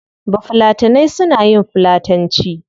Bafulatanai suna yin fulatanci